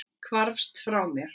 Hvarfst mér frá.